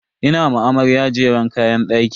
Ina ma amarya jeren kayan daki.